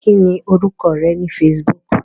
Kí ni orúkọ rẹ ní Facebook?